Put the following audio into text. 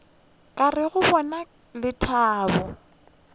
ka re go bona lethabo